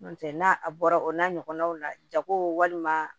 N'o tɛ n'a a bɔra o n'a ɲɔgɔnnaw la jago walima